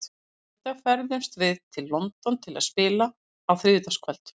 Á mánudag ferðumst við til London til að spila á þriðjudagskvöld.